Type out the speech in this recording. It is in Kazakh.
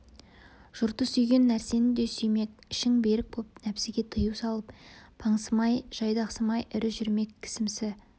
жұрты сүйген нәрсені да сүймек ішің берік боп нәпсіге тыю салып паңсымай жайдақсымай ірі жүрмек кісімсі